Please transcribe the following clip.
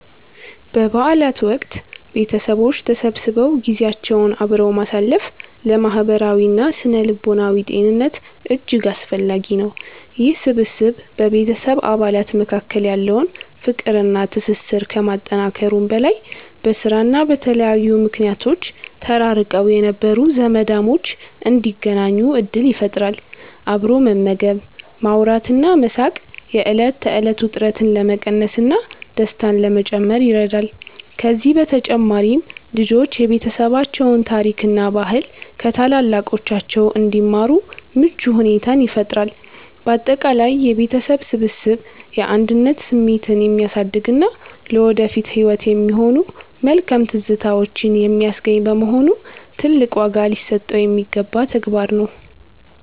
በበዓላት ወቅት ቤተሰቦች ተሰብስበው ጊዜያቸውን አብረው ማሳለፍ ለማህበራዊና ስነ-ልቦናዊ ጤንነት እጅግ አስፈላጊ ነው። ይህ ስብስብ በቤተሰብ አባላት መካከል ያለውን ፍቅርና ትስስር ከማጠናከሩም በላይ፣ በስራና በተለያዩ ምክንያቶች ተራርቀው የነበሩ ዘመዳሞች እንዲገናኙ ዕድል ይፈጥራል። አብሮ መመገብ፣ ማውራትና መሳቅ የዕለት ተዕለት ውጥረትን ለመቀነስና ደስታን ለመጨመር ይረዳል። ከዚህም በተጨማሪ ልጆች የቤተሰባቸውን ታሪክና ባህል ከታላላቆቻቸው እንዲማሩ ምቹ ሁኔታን ይፈጥራል። ባጠቃላይ የቤተሰብ ስብስብ የአንድነት ስሜትን የሚያሳድግና ለወደፊት ህይወት የሚሆኑ መልካም ትዝታዎችን የሚያስገኝ በመሆኑ፣ ትልቅ ዋጋ ሊሰጠው የሚገባ ተግባር ነው።